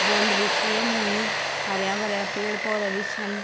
बाउंड्री छी यम हुयुं हर्या-भर्या पेड़-पौधा भी छन।